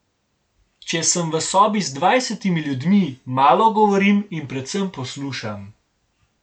Če sem v sobi z dvajsetimi ljudmi, malo govorim in predvsem poslušam.